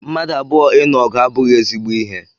Mmadụ abụọ ịnụ ọgụ abụghị ezigbo ihe